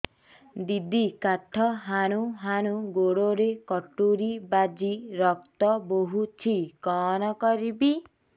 ଦିଦି କାଠ ହାଣୁ ହାଣୁ ଗୋଡରେ କଟୁରୀ ବାଜି ରକ୍ତ ବୋହୁଛି କଣ କରିବି